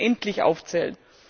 Ich könnte unendlich aufzählen.